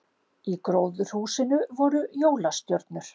Í gróðurhúsinu voru jólastjörnur